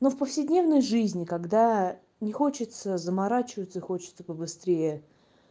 ну в повседневной жизни когда не хочется заморачиваться хочется побыстрее